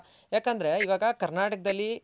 ಯಾಕಂದ್ರೆ ಇವಾಗ ಕರ್ನಾಟಕದಲ್ಲಿ.